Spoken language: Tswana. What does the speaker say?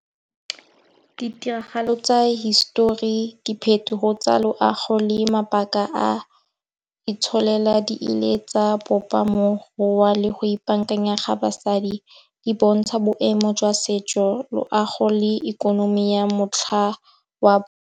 Ditiragalo tsa hisetori, diphetogo tsa loago le mabaka a itsholela di ile tsa bopa ka mokgwa le go ipaakanya ga basadi. Di bontsha boemo jwa setso, loago le ikonomi ya motlha wa.